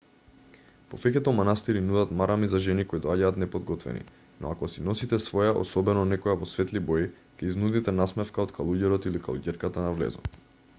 повеќето манастири нудат марами за жени кои доаѓаат неподготвени но ако си носите своја особено некоја во светли бои ќе изнудите насмевка од калуѓерот или калуѓерката на влезот